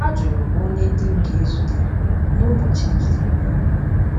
Ha jụrụ m onye di m ga-ezute n’ụbọchị e jidere ya.